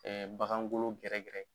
Ɛɛ bagan golo gɛrɛgɛrɛ.